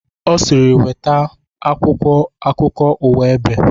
Ọ sịrị"nweta akwụkwọ akukọ uwa ebe"